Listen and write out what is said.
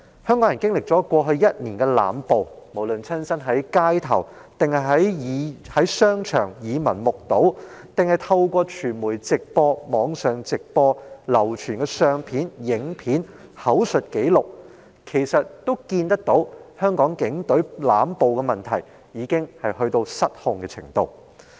香港人經歷過去一年的濫暴，無論是親身在街頭或商場耳聞目睹，還是透過傳媒直播、網上直播、流傳的相片和影片及口述紀錄，均可見到香港警隊的濫暴問題已到達失控的程度。